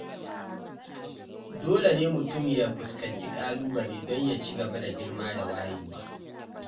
Dole ne mutum ya fuskanci ƙalubale don ya ci gaba da girma da wayewa.